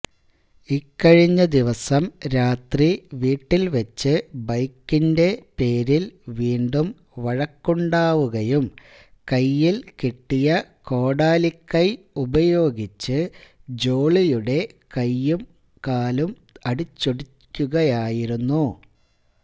ഇക്കഴിഞ്ഞദിവസം രാത്രി വീട്ടിൽവച്ച് ബൈക്കിന്റെ പേരിൽ വീണ്ടും വഴക്കുണ്ടാവുകയും കൈയിൽ കിട്ടിയ കോടാലിക്കൈ ഉപയോഗിച്ച് ജോളിയുടെ കാലും കൈയും അടിച്ചൊടിക്കുകയുമായിരുന്നു